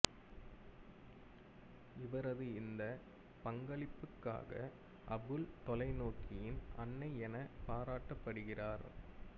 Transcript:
இவரது இந்த பங்களிப்புக்காக அபுள் தொலைநோக்கியின் அன்னை எனப் பராட்டப்படுகிறார்